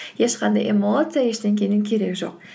ешқандай эмоция ештеңенің керегі жоқ